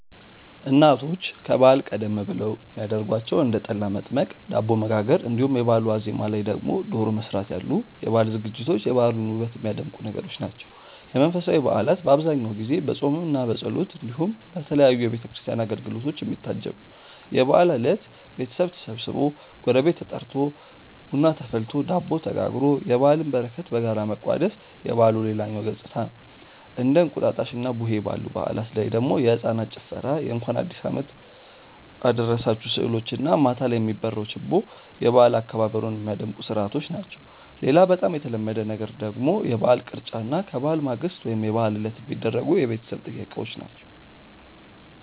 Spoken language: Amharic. እናቶች ከበዓል ቀደም ብለው የሚያረጓቸው እንደ ጠላ መጥመቅ፣ ዳቦ መጋገር እንዲሁም የበአሉ ዋዜማ ላይ ደግሞ ዶሮ መስራት ያሉ የበዓል ዝግጅቶች የበዓሉን ውበት የሚያደምቁ ነገሮች ናቸው። የመንፈሳዊ በዓላት በአብዛኛው ጊዜ በፆምምና በጸሎት እንዲሁም በተለያዩ የቤተ ክርስቲያን አገልግሎቶች የሚታጀብ ነው። የበዓል እለት ቤተሰብ ተሰብስቦ፣ ጎረቤት ተጠርቶ፣ ቡና ተፈልቶ፣ ዳቦ ተጋግሮ የበዓልን በረከት በጋራ መቋደስ የበዓሉ ሌላኛው ገፅታ ነው። እንደ እንቁጣጣሽና ቡሄ ባሉ በዓላት ላይ ደግሞ የህፃናት ጭፈራ የእንኳን አዲሱ አመት አደረሳችሁ ስዕሎች እና ማታ ላይ የሚበራው ችቦ የበዓል አከባበሩን ሚያደምቁ ስርዓቶች ናቸው። ሌላ በጣም የተለመደ ነገር ደግሞ የበዓል ቅርጫ እና ከበዓል ማግስት ወይም የበዓል ዕለት የሚደረጉ የቤተሰብ ጥየቃዎች ናቸው።